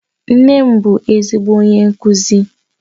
Nne m bu ezigbo onye nkuzi